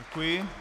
Děkuji.